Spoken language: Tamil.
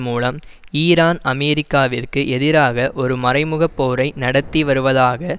மூலம் ஈரான் அமெரிக்காவிற்கு எதிராக ஒரு மறைமுகபோரை நடத்தி வருவதாக